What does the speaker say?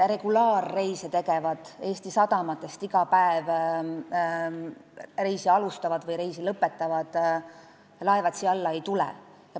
Regulaarreise tegevad, Eesti sadamatest iga päev reisi alustavad või seal reisi lõpetavad laevad siia alla ei tule.